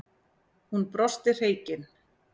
Hún brosti hreykin.